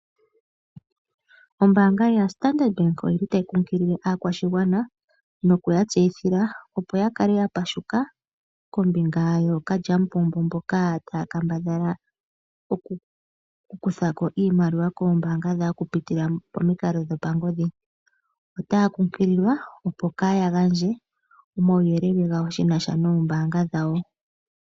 Ombaanga yoStandard bank oyili tayi nkunkilile oshigwana nokuya tseyithila kutya opo ya kale yapashika kombinga yookalyamupombo mboka taya kambadhala oku kutha ko iimaliwa yaantu, oku pitila momikalo dhopangodhi. Otaya nkunkililwa opo kaa ya gandje omauyelele gawo shina sho nombaanga dhawo.